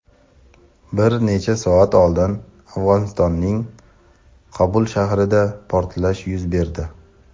Bir necha soat oldin Afg‘onistonning Qobul shahrida portlash yuz berdi.